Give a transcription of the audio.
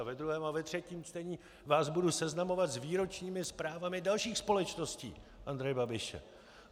A ve druhém a ve třetím čtení vás budu seznamovat s výročními zprávami dalších společností Andreje Babiše.